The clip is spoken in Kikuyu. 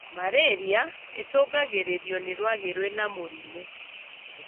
Marĩria ĩcũngagĩrĩrio nĩ rwagĩ rwĩna mũrimũ